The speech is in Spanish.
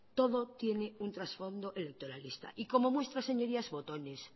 todo tiene un trasfondo electoralista y como muestra señorías botones